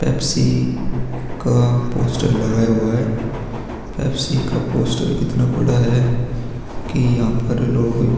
Pepsi का poster लगाया हुआ है पेप्सी का पोस्टर इतना बड़ा है कि यहाँ पर लोग --